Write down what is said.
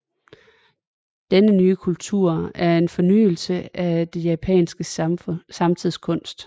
Denne nye kultur er en foryngelse af den japanske samtidskunst